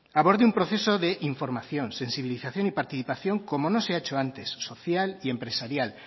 aborde un proceso de información sensibilización y participación como no se ha hecho antes social y empresarial